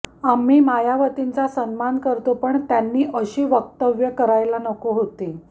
आम्ही मायावतींचा सन्मान करतो पण त्यांनी अशी वक्तव्य करायला नको होती